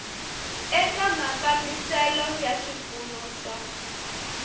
eka mafambiselo ya swipfuno swa